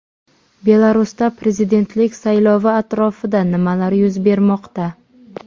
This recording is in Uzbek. Belarusda prezidentlik saylovi atrofida nimalar yuz bermoqda?